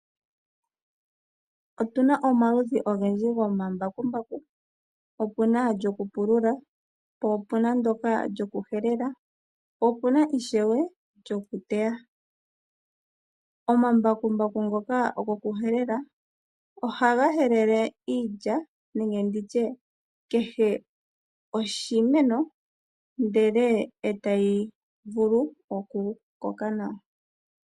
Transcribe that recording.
Otuna omaludhi ogendji gomambakumbaku, opuna lyokupulula, po opuna ndoka lyokuhelela, po opuna ishewe lyokuteya. Omambakumbaku ngoka gokuhelela ohaga helele iilya nenge ndi tye kehe oshimeno ndele e tayi vulu okukoka nawa.